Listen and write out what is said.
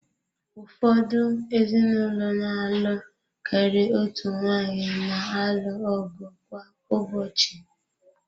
Ụfọdụ ezinụlọ na-alụ karịa otu nwaanyị na-alụ ọgụ kwa ụbọchị.